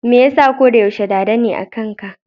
Me yasa koda yaushe Dada ne akan ka?